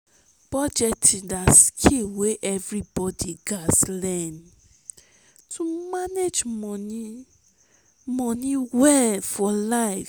budgeting na skill wey everybody gats learn to manage money money well for life.